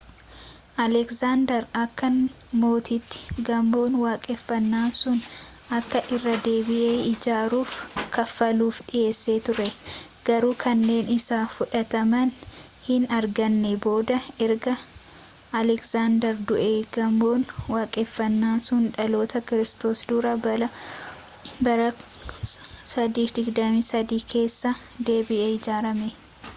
alegzaandar akka mootiitti gamoon waaqeffannaa sun akka irra-deebi'ee ijaaramuuf kaffaluuf dhiyeessee turee garuu kennaan isaa fudhatama hin arganne booda erga alegzaandar du'ee gamoon waaqeffannaa sun dhaloota kiristoos dura bara 323 keessa deebi'ee ijaarame